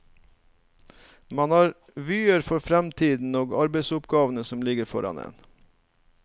Man har vyer for fremtiden og arbeidsoppgavene som ligger foran en.